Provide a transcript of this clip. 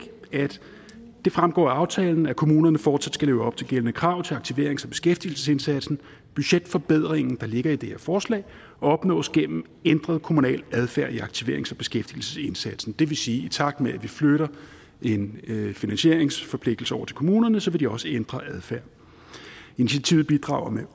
det fremgår af aftalen at kommunerne fortsat skal leve op til gældende krav til aktiverings og beskæftigelsesindsatsen budgetforbedringen der ligger i det her forslag opnås gennem ændret kommunal adfærd i aktiverings og beskæftigelsesindsatsen det vil sige at i takt med at vi flytter en finansieringsforpligtelse over til kommunerne vil de også ændre adfærd initiativet bidrager med